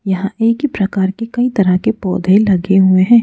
यहां एक ही प्रकार के कई तरह के पौधे लगे हुए हैं।